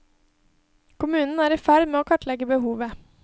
Kommunen er i ferd med å kartlegge behovet.